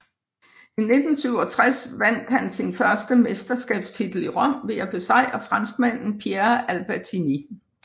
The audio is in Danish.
I 1967 vandt han sin første europamesterskabstitel i Rom ved at besejre franskmanden Pierre Albertini